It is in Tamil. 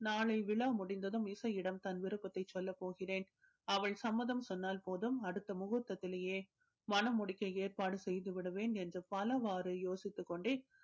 நாளை விழா முடிந்ததும் இசையிடம் தன் விருப்பத்தை சொல்லப் போகிறேன் அவள் சம்மதம் சொன்னால் போதும் அடுத்த முகூர்த்தத்திலேயே மணமுடிக்க ஏற்பாடு செய்து விடுவேன் என்று பல வாரு யோசித்துக் கொண்டே